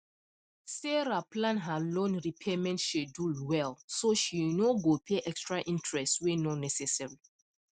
sarah plan her loan repayment schedule well so she no go pay extra interest wey no necessary